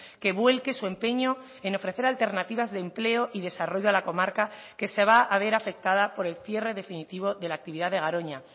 que vuelque su empeño en ofrecer alternativas de empleo y desarrollo a la comarca que se va a ver afectada por el cierre definitivo de la actividad de garoña